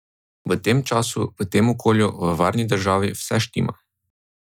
V tem času, v tem okolju, v varni državi vse štima.